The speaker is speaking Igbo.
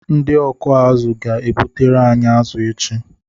Ndị ọkụ azụ ga-ebutere anyị azụ echi.